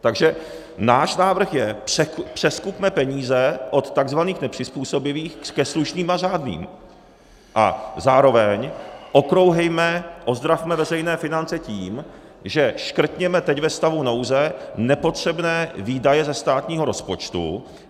Takže náš návrh je, přeskupme peníze od tzv. nepřizpůsobivých ke slušným a řádným a zároveň okrouhejme, ozdravme veřejné finance tím, že škrtneme teď ve stavu nouze nepotřebné výdaje ze státního rozpočtu.